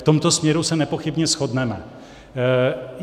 V tomto směru se nepochybně shodneme.